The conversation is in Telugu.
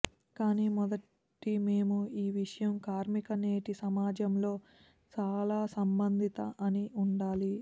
కానీ మొదటి మేము ఈ విషయం కార్మిక నేటి సమాజంలో చాలా సంబంధిత అని ఉండాలి